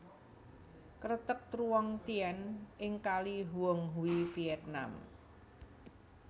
Kreteg Truong Tien ing kali Huong Hue Vietnam